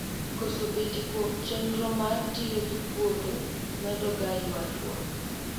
koso betie kuom chenro mar tiyo gi puodho medo ga ywaruok